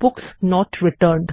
books not returned